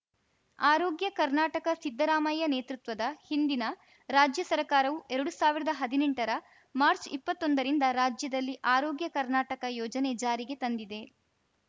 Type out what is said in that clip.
ಆರೋಗ್ಯ ಕರ್ನಾಟಕ ಸಿದ್ದರಾಮಯ್ಯ ನೇತೃತ್ವದ ಹಿಂದಿನ ರಾಜ್ಯ ಸರ್ಕಾರವು ಎರಡು ಸಾವಿರದ ಹದಿನೆಂಟರ ಮಾರ್ಚ್ಇಪ್ಪತ್ತೊಂದ ರಿಂದ ರಾಜ್ಯದಲ್ಲಿ ಆರೋಗ್ಯ ಕರ್ನಾಟಕ ಯೋಜನೆ ಜಾರಿಗೆ ತಂದಿದೆ